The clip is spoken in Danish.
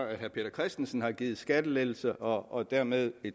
at herre peter christensen har givet skattelettelser og dermed